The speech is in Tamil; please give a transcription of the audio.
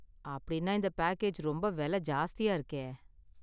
அப்படினா, இந்த பேக்கேஜ் ரொம்ப விலை ஜாஸ்தியா இருக்கே.